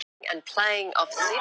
Eivör, hvað er að frétta?